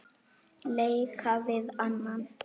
leika við annan